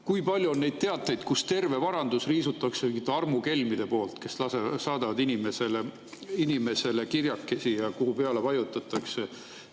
Kui palju on neid teateid, et terve varandus on riisutud armukelmide poolt, kes saadavad inimesele kirjakesi, mille peale siis vajutatakse.